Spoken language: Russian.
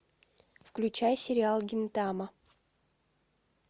включай сериал гинтама